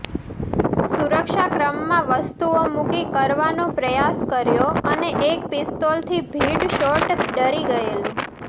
સુરક્ષા ક્રમમાં વસ્તુઓ મૂકી કરવાનો પ્રયાસ કર્યો અને એક પિસ્તોલ થી ભીડ શોટ ડરી ગયેલું